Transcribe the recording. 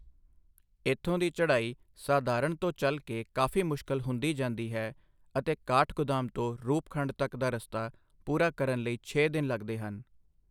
ਇੱਥੋਂ ਦੀ ਚੜ੍ਹਾਈ ਸਾਧਾਰਨ ਤੋਂ ਚਲ ਕੇ ਕਾਫੀ ਮੁਸ਼ਕਿਲ ਹੁੰਦੀ ਜਾਂਦੀ ਹੈ ਅਤੇ ਕਾਠਗੋਦਾਮ ਤੋਂ ਰੂਪਖੁੰਡ ਤੱਕ ਦਾ ਰਸਤਾ ਪੂਰਾ ਕਰਨ ਲਈ ਛੇ ਦਿਨ ਲਗਦੇ ਹਨ।